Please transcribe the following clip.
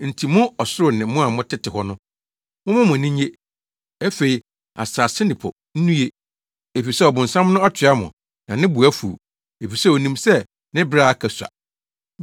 Enti mo ɔsoro ne mo a motete hɔ no, momma mo ani nnye. Afei asase ne po nnue! Efisɛ ɔbonsam no atoa mo na ne bo afuw efisɛ onim sɛ, ne bere a aka sua.”